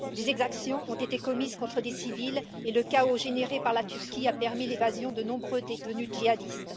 Des exactions ont été commises contre des civils et le chaos généré par la Turquie a permis l'évasion de nombreux détenus djihadistes.